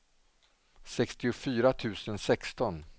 sextiofyra tusen sexton